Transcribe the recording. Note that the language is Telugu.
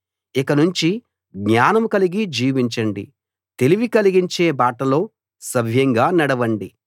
ఇకనుంచి జ్ఞానం కలిగి జీవించండి తెలివి కలిగించే బాటలో సవ్యంగా నడవండి